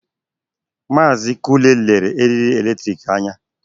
Maazị Kunle lere eriri eletrik anya.